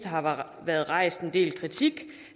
har været rejst en del kritik